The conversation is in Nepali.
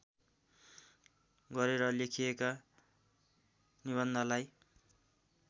गरेर लेखिएका निबन्धलाई